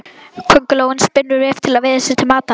Köngulóin spinnur vef til að veiða sér til matar.